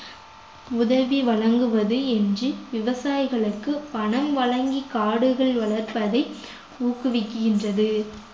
உதவி வழங்குவது என்று விவசாயிகளுக்கு பணம் வழங்கி காடுகள் வளர்ப்பதை ஊக்குவிக்கின்றது